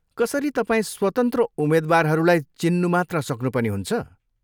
कसरी तपाईँ स्वतन्त्र उम्मेद्वारहरूलाई चिन्नु मात्र सक्नु पनि हुन्छ?